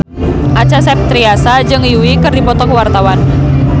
Acha Septriasa jeung Yui keur dipoto ku wartawan